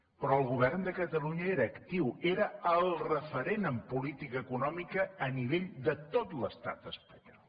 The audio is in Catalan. però el govern de catalunya era actiu era el referent en política econòmica a nivell de tot l’estat espanyol